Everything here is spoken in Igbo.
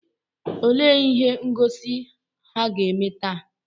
Olee ihe ngosi ha ga-eme taa?